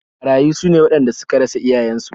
Marayu su ne waɗanda suka rasa iyayensu